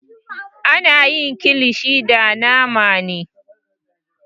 Ana yin kilishi da nama ne.